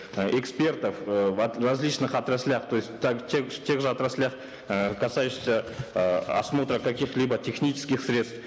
экспертов э в в различных отраслях то есть так тех же отраслях э касающихся э осмотра каких либо технических средств